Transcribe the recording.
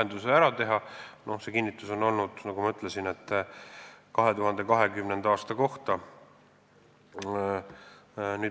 Nagu ma ütlesin, kinnitus on antud 2020. aasta kohta.